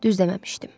Düz deməmişdim.